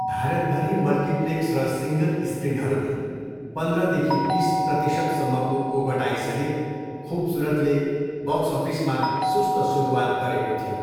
भारतभरि मल्टिप्लेक्स र सिङ्गल स्क्रिनहरूमा पन्ध्रदेखि बिस प्रतिशतसम्मको ओगटाइसहित खुबसुरतले बक्स अफिसमा सुस्त सुरुवात गरेको थियो।